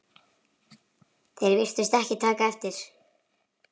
Þeir virtust ekki taka eftir